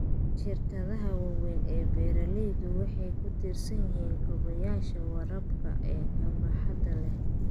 Shirkadaha waaweyn ee beeralaydu waxay ku tiirsan yihiin kaabayaasha waraabka ee baaxadda leh.